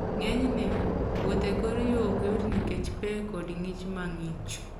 Ng'enyne, wuoth e kor yo ok yot nikech pe koda ng'ich mang'ich.